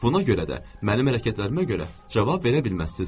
Buna görə də mənim hərəkətlərimə görə cavab verə bilməzsiniz.